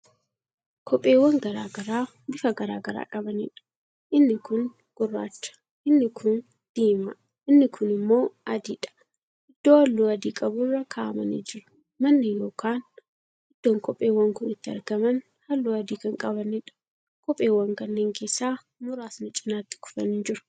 Kopheewwan garagaraa bifaa garagaraa qabaniidha. inni kuun gurraacha, inni kuun diimaa, inni kuun immoo adiidha. iddoo halluu adii qaburra kaa'amanii jiru. manni yookaan iddoon kopheewwan Kun itti argaman halluu adii Kan qabanidha. kophoowwan kanneen keessaa muraasni cinaatti kufanii jiru.